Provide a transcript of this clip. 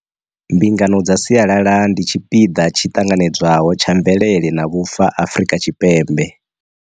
Mbingano dza sialala ndi tshi piḓa tshi ṱanganedzwaho tsha mvelele na vhufa Afrika Tshipembe.